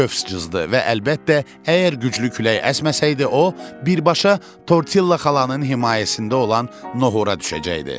və əlbəttə, əgər güclü külək əsməsəydi, o birbaşa Tortilla xalanın himayəsində olan nohura düşəcəkdi.